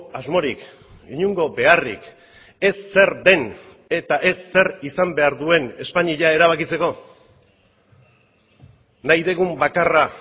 asmorik inongo beharrik ez zer den eta ez zer izan behar duen espainia erabakitzeko nahi dugun bakarra